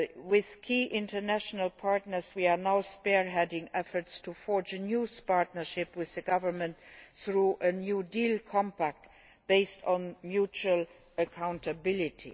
With key international partners, we are now spearheading efforts to forge a new partnership with the government through a New Deal Compact based on mutual accountability.